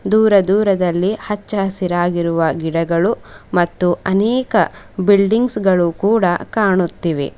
ದೂರ ದೂರದಲ್ಲಿ ಹಚ್ಚ ಹಸಿರಾಗಿರುವ ಗಿಡಗಳು ಮತ್ತು ಅನೇಕ ಬಿಲ್ಡಿಂಗ್ಸ್ ಗಳು ಕೂಡ ಕಾಣುತ್ತಿವೆ.